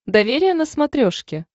доверие на смотрешке